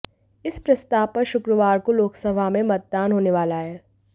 इस प्रस्ताव पर शुक्रवार को लोकसभा में मतदान होने वाला है